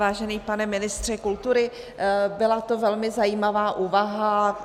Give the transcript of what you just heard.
Vážený pane ministře kultury, byla to velmi zajímavá úvaha.